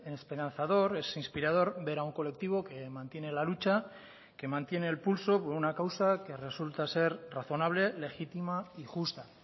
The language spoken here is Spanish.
esperanzador es inspirador ver a un colectivo que mantiene la lucha que mantiene el pulso por una causa que resulta ser razonable legítima y justa